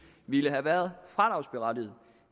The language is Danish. ville have været fradragsberettiget